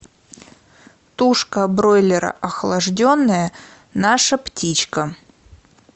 тушка бройлера охлажденная наша птичка